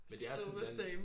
Still the same